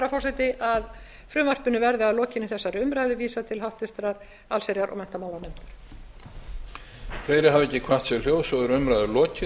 forseti að frumvarpinu verði að lokinni þessari umræðu vísað til háttvirtrar allsherjar og menntamálanefndar